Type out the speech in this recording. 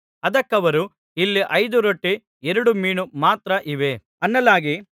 ಅದಕ್ಕವರು ಇಲ್ಲಿ ಐದು ರೊಟ್ಟಿ ಎರಡು ಮೀನು ಮಾತ್ರ ಇವೆ ಅನ್ನಲಾಗಿ